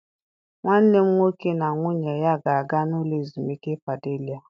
Nwanne m nwoke na nwunye ya ga-aga n'ụlọ ezumike Padelia.